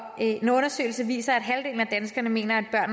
en undersøgelse viser at halvdelen af danskerne mener at